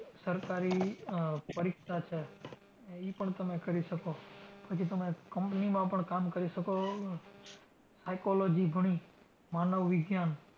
સરકારી આહ પરીક્ષા છે ને ઈ પણ કરી શકો. પછી તમે company માં પણ કામ કરી શકો. Psychology ભણી, માનવ વિજ્ઞાન,